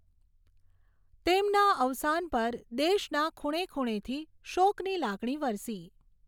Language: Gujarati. તેમના અવસાન પર દેશના ખૂણે ખૂણેથી શોકની લાગણી વરસી.